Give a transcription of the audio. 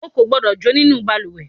o kò gbódọ̀ jó nínú ìbalùwẹ̀